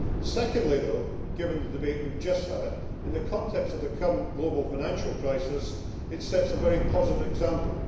Secondly though, given the debate we have just had, in the context of the current global financial crisis, it sets a very positive example.